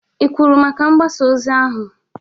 ị kwụrụ maka mgbasa ozi ahụ?